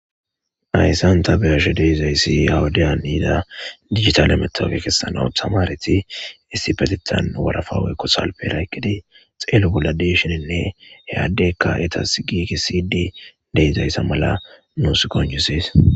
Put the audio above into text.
Hayssan ta beyashe deizayssi awudiya iida digitalemetofe kessanau tamareti istibetetan warafawekko salperaykedi xeelo bolla deshoninne heyaddeykka etas giiki sidi deezayssa mala nuus konjusees